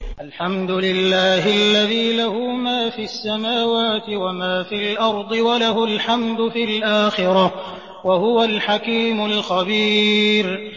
الْحَمْدُ لِلَّهِ الَّذِي لَهُ مَا فِي السَّمَاوَاتِ وَمَا فِي الْأَرْضِ وَلَهُ الْحَمْدُ فِي الْآخِرَةِ ۚ وَهُوَ الْحَكِيمُ الْخَبِيرُ